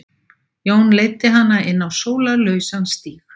Jón leiddi hana inn á sólarlausan stíg.